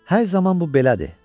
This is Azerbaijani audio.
Hər zaman bu belədir.